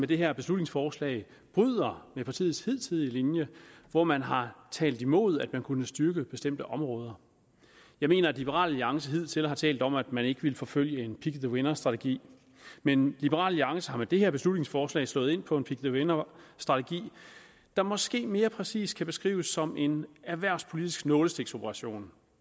det her beslutningsforslag bryder med partiets hidtidige linje hvor man har talt imod at vi kunne styrke bestemte områder jeg mener at liberal alliance hidtil har talt om at man ikke ville forfølge en pick the winner strategi men liberal alliance er med det her beslutningsforslag slået ind på en pick the winner strategi der måske mere præcist kan beskrives som en erhvervspolitisk nålestiksoperation